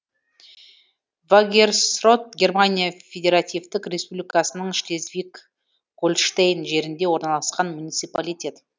вагерсрот германия федеративтік республикасының шлезвиг гольштейн жерінде орналасқан муниципалитет